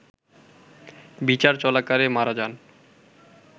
বিচার চলাকালে মারা যান